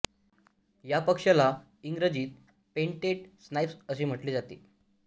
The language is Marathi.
या पक्षाला इंग्रजीत पेंटेड स्नाईप्स असे म्हटले जाते